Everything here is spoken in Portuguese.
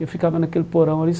Eu ficava naquele porão ali.